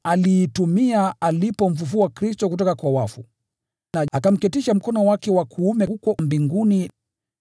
aliyoitumia katika Kristo alipomfufua kutoka kwa wafu, na akamketisha mkono wake wa kuume huko mbinguni,